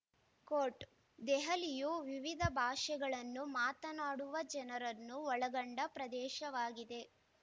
coat ದೆಹಲಿಯು ವಿವಿಧ ಭಾಷೆಗಳನ್ನು ಮಾತಾನಾಡುವ ಜನರನ್ನು ಒಳಗೊಂಡ ಪ್ರದೇಶವಾಗಿದೆ